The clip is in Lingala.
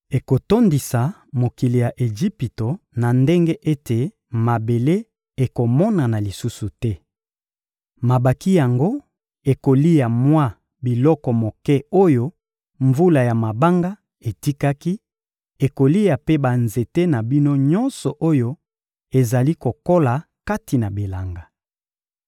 Ekotondisa mokili ya Ejipito na ndenge ete mabele ekomonana lisusu te. Mabanki yango ekolia mwa biloko moke oyo mvula ya mabanga etikaki; ekolia mpe banzete na bino nyonso oyo ezali kokola kati na bilanga.